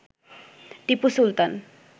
Tipu Sultan